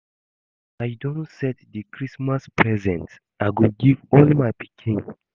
I don set the Christmas presents I go give all my pikin